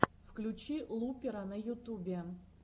включи лупера на ютубе